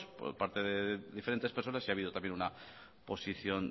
por parte de diferentes personas y ha habido también una posición